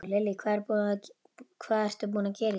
Lillý: Hvað ertu búinn að gera í dag?